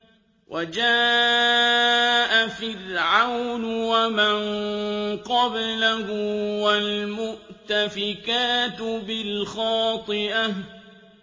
وَجَاءَ فِرْعَوْنُ وَمَن قَبْلَهُ وَالْمُؤْتَفِكَاتُ بِالْخَاطِئَةِ